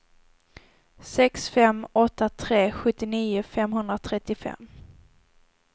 sex fem åtta tre sjuttionio femhundratrettiofem